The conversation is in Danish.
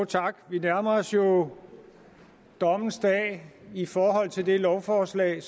tak vi nærmer os jo dommens dag i forhold til det lovforslag